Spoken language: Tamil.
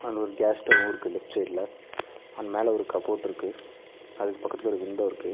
அங்க ஒரு கேஸ் ஸ்டவ்வுருக்கு லெஃப்ட் சைடுல அண்ட் மேல ஒரு கப் போட்ருக்கு . அதுக்கு பக்கத்துல ஒரு விண்டோ இருக்கு.